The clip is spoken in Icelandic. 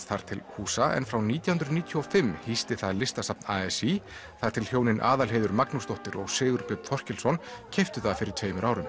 þar til húsa en frá nítján hundruð níutíu og fimm hýsti það Listasafn a s í þar til hjónin Aðalheiður Magnúsdóttir og Sigurbjörn Þorkelsson keyptu það fyrir tveimur árum